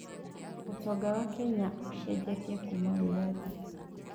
ũtonga wa Kenya ũcenjetie Kuuma wĩyathi.